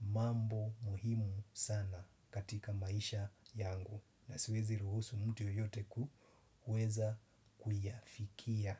mambo muhimu sana katika maisha yangu na siwezi ruhusu mtu yoyote kuweza kuyafikia.